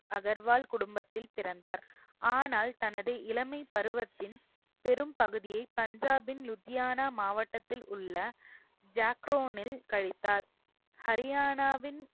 அகர்வால் குடும்பத்தில் பிறந்தார் ஆனால் தனது இளமைப் பருவத்தின் பெரும்பகுதியை பஞ்சாபின் லுத்தியானா மாவட்டத்தில் உள்ள ஜாக்ரோனில் கழித்தார் ஹரியானாவின்